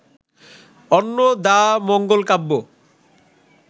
Annadamangal Kabya